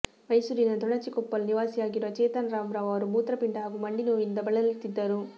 ಮೈಸೂರಿನ ತೊಣಚಿಕೊಪ್ಪಲು ನಿವಾಸಿಯಾಗಿರುವ ಚೇತನ್ ರಾಮರಾವ್ ಅವರು ಮೂತ್ರಪಿಂಡ ಹಾಗೂ ಮಂಡಿನೋವಿನಿಂದ ಬಳಲುತ್ತಿದ್ದರು